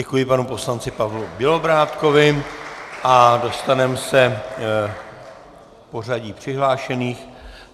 Děkuji panu poslanci Pavlu Bělobrádkovi a dostaneme se k pořadí přihlášených.